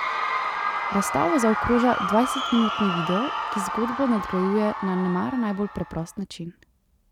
Razstavo zaokroža dvajsetminutni video, ki zgodbo nadgrajuje na nemara najbolj preprost način.